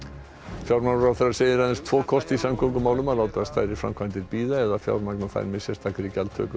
fjármálaráðherra segir aðeins tvo kosti í samgöngumálum að láta stærri framkvæmdir bíða eða fjármagna þær með sérstakri gjaldtöku